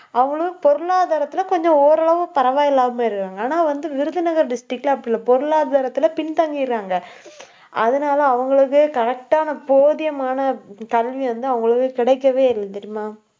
அவங்களும், பொருளாதாரத்தில கொஞ்சம், ஓரளவு பரவாயில்லாம இருக்காங்க. ஆனா வந்து, விருதுநகர் district ல அப்படில்ல பொருளாதாரத்துல பின்தங்கிடுறாங்க. அதனால அவங்களுக்கு correct ஆன போதியமான கல்வி வந்து, அவங்களுக்கு கிடைக்கவே இல்லை தெரியுமா